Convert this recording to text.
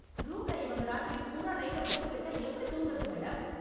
ரூம்ல இவங்க ராத்திரி பூரா லைட்ட போட்டு வெச்சா எப்டி தூங்கறது மேடம்?